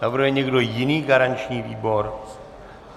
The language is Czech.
Navrhuje někdo jiný garanční výbor?